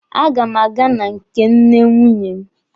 A ga m aga na nke nne nwunye m.